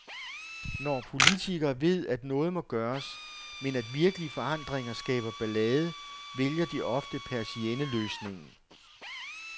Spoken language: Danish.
Når politikere ved, at noget må gøres, men at virkelige forandringer skaber ballade, vælger de ofte persienneløsningen.